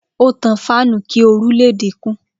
Ó tan fáànù kí oru le dínkù.